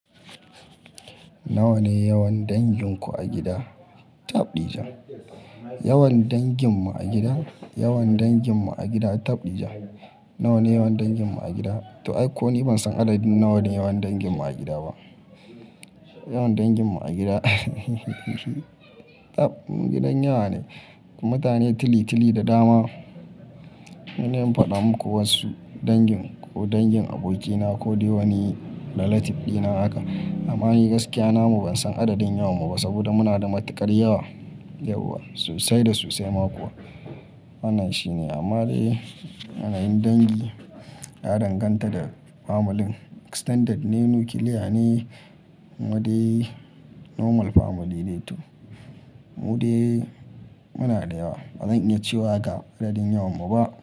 Nawa ne yawan danginku a gida? Tabdijan. Yawan danginmu a gida? Yawan danginmu a gida? Tabdija. Nawa ne yawan danginmu a gida? To ai ko ni ban san adadin nawa ne yawan danginmu a gida ba. Yawan danginmu a gida Tab mu gidan yawa ne. Mutane tili tili da dama. Sai da in faɗa muku wasu dangin ko dangin abokina ko dai wani relative dina haka. Amma in yi gaskiya na mu ban san adadin yawarmu ba saboda muna da matuƙar yawa yauwa. Sasai da sosai ma kuwa. Wannan shi ne amma dai yanayin dangi na danganta da familin. Extended ne, nuclear ne, mu dai normal family ne to. Mu dai muna da yawa. Ba zan iya cewa ga adadin yawan mu ba.